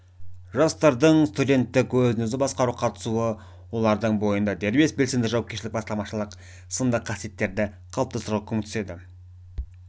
жастардың студенттік өзін-өзі басқаруға қатысуы олардың бойында дербес белсенді жауапкершілік бастамашыл сынды қасиеттерді қалыптастыруға көмектеседі